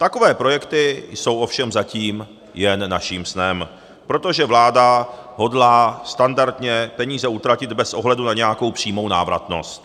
Takové projekty jsou ovšem zatím jen naším snem, protože vláda hodlá standardně peníze utratit bez ohledu na nějakou přímou návratnost.